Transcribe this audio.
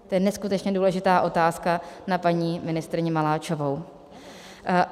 To je neskutečně důležitá otázka na paní ministryni Maláčovou.